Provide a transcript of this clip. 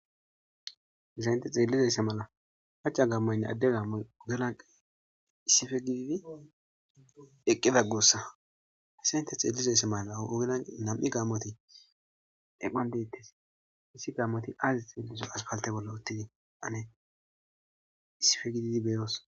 Hesayinte xeellizaysse mala haca gammaynne adde gaammay ogelanqa issife gididi eqqida guussa hese ynte xeellizaysse mala ogelan nam7i gaamoti eqqan deettes issi gaamoti aazi xeelizo aspalte bolla uttidi ane issife gididi beeros.